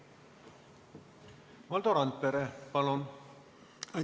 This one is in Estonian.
Valdo Randpere, palun!